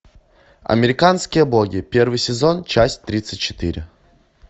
американские боги первый сезон часть тридцать четыре